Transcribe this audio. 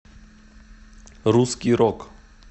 русский рок